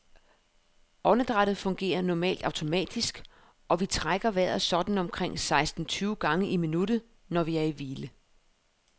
Åndedrættet fungerer normalt automatisk, og vi trækker vejret sådan omkring seksten tyve gange i minuttet, når vi er i hvile.